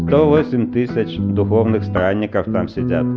сто восемь тысяч духовных странников там сидят